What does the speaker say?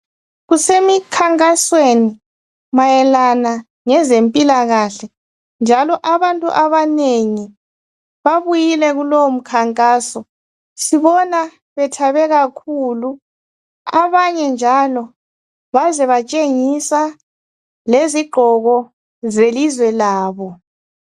Kusemikhankasweni mayelana lezempilakahle njalo abantu abanengi babuyile kulowo mkhankaso sibona bethabe kakhulu abanye njalo baze batshengisa lezigqoko zelizwe labo.